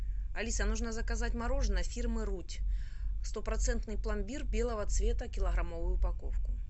алиса нужно заказать мороженое фирмы рудь стопроцентный пломбир белого цвета килограммовую упаковку